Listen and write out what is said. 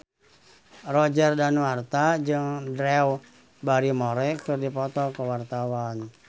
Roger Danuarta jeung Drew Barrymore keur dipoto ku wartawan